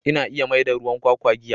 Ina iya maida ruwan kwakwa giya.